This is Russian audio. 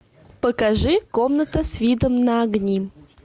покажи комната с видом на огни